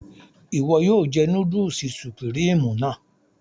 Iwọ yóò jẹ núdùlsì Sùpríímù náà